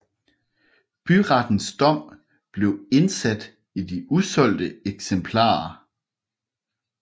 Byrettens dom blev indsat i de usolgte eksemplarer